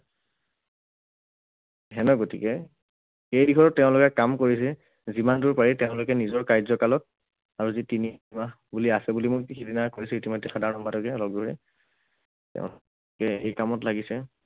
সিঁহতৰ, গতিকে সেই দিশত তেওঁলোকে কাম কৰিছে, যিমান দূৰ পাৰি তেওঁলোকে নিজৰ কাৰ্যকালত আৰু যি বুলি আছে বুলি মই কৰিছো ইতিমধ্যে সাধাৰণ সম্পাদকে অলক গগৈয়ে এই কামত লাগিছে।